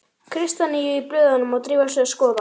Kristjaníu í blöðunum og drifið sig að skoða.